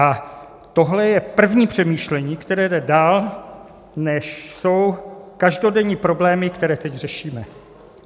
A tohle je první přemýšlení, které jde dál, než jsou každodenní problémy, které teď řešíme.